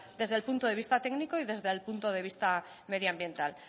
desde el punto de vista técnico y desde el punto de vista medioambiental